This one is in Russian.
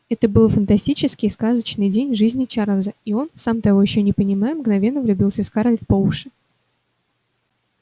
это был фантастический сказочный день в жизни чарлза и он сам ещё того не понимая мгновенно влюбился в скарлетт по уши